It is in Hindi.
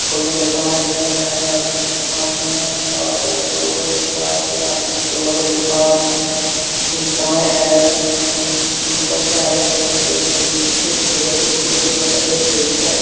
खुलने का समय दिखाया है आठ बज के पांच मिनट आठ चौदह बज के पांच आठ सोलह बजके पांच इ समय है नि निकलता है इसमें से ये लोग एक जगह से दूसरे जगह सन्देश भेजते हैं।